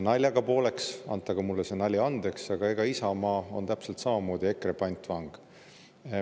Naljaga pooleks, antagu mulle see nali andeks, aga Isamaa on täpselt samamoodi EKRE pantvang.